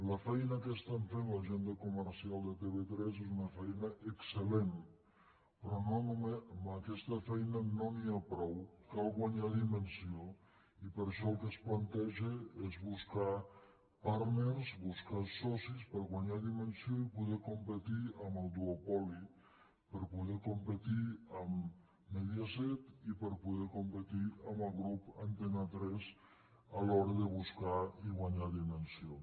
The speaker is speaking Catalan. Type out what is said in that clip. la feina que estan fent la gent de comercial de tv3 és una feina exceln’hi ha prou cal guanyar dimensió i per això el que es planteja és buscar partners buscar socis per guanyar dimensió i poder competir amb el duopoli per poder competir amb mediaset i poder competir amb el grup antena tres a l’hora de buscar i guanyar dimensió